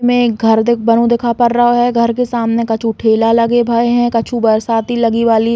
में एक घर देख बनो दिखा पड़ रहे हो। घर के सामने कछु ठेला लगे भये हैं कछु बरसाती लगी वाली --